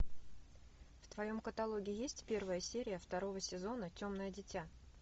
в твоем каталоге есть первая серия второго сезона темное дитя